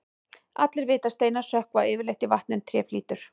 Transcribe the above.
allir vita að steinar sökkva yfirleitt í vatni en tré flýtur